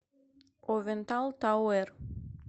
овентал тауэр